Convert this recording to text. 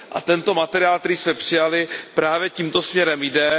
A tento materiál, který jsme přijali, právě tímto směrem jde.